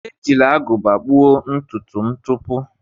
Ejila agụba gbuo ntutu m tupu.